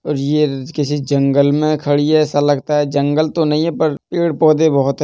और ये ल् किसी जंगल में खड़ी है। ऐसा लगता है जंगल तो नहीं है पर पेड़ पौधे बहोत है।